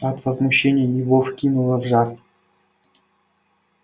от возмущения его вкинуло в жар